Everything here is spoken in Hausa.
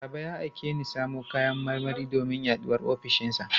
Baba ya aike ni in samo kayan marmari domin haɗuwar ofishinsa.